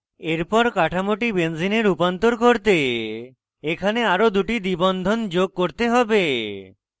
এরপর কাঠামোটি benzene রূপান্তর করতে এখানে আরো দুটি দ্বিবন্ধন যোগ করতে হবে